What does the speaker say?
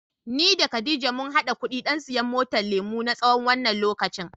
Ni da Khadijah mun hada kuɗi don siyan motar lemu, na tsawon wannan lokacin.